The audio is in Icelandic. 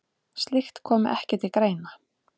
Slíkt komi ekki til greina.